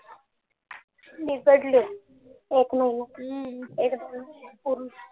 मी एक महिना पूर्ण